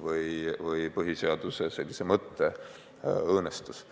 või põhiseaduse mõtte õõnestus.